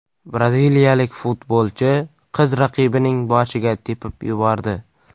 Braziliyalik futbolchi qiz raqibining boshiga tepib yubordi .